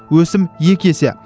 өсім екі есе